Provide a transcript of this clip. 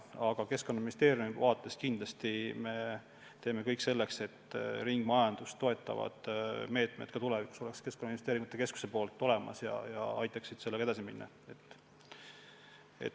Aga Keskkonnaministeeriumis me kindlasti teeme kõik selleks, et ringmajandust toetavad meetmed ka tulevikus oleks Keskkonnainvesteeringute Keskuse korraldusel olemas ja aitaksid selles vallas edasi minna.